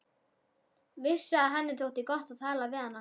Vissi að henni þótti gott að tala við hana.